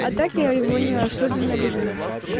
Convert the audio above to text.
а так я его не особенно люблю